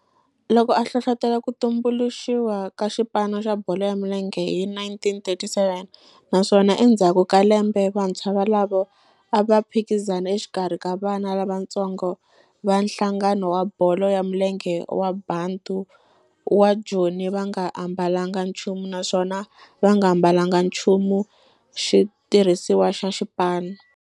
Loko a hlohlotela ku tumbuluxiwa ka xipano xa bolo ya milenge hi 1937 naswona endzhaku ka lembe vantshwa volavo a va phikizana exikarhi ka vana lavatsongo va nhlangano wa bolo ya milenge wa Bantu wa Joni va nga ambalanga nchumu naswona va nga ambalanga nchumu xitirhisiwa xa xipano.